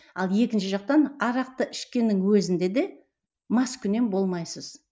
ал екінші жақтан арақты ішкеннің өзінде де маскүнем болмайсыз